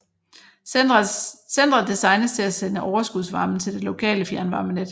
Centret designes til at sende overskudsvarmen til det lokale fjernvarmenet